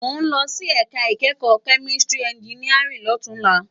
Mó n lòsí èká ikèékò mèkániká ènjìníárìn lòtúnlá